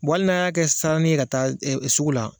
Wali n'an y'a kɛ sanni ka taa sugu la